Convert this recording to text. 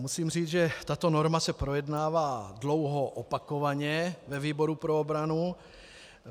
Musím říci, že tato norma se projednává dlouho, opakovaně ve výboru pro obranu.